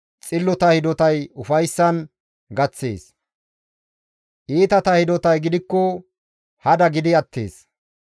Xillota hidotay ufayssan gaththees; iitata hidotay gidikko hada gidi attees.